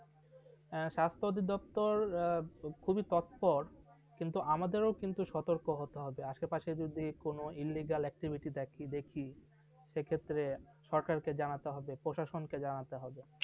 হ্যাঁ স্বাস্থ্য দপ্তর খুবই তৎপর কিন্তু আমাদের কিন্তু সতর্ক হতে হবে আশেপাশে যদি কোন illegal activity দেখি সেক্ষেত্রে সরকারকে জানাতে হবে প্রশাসনকে জানাতে হবে